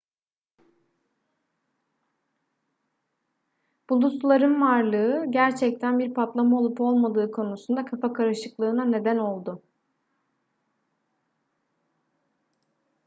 bulutların varlığı gerçekten bir patlama olup olmadığı konusunda kafa karışıklığına neden oldu